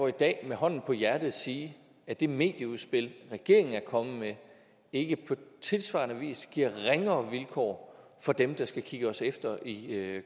i dag med hånden på hjertet sige at det medieudspil regeringen er kommet med ikke på tilsvarende vis giver ringere vilkår for dem der skal kigge os efter i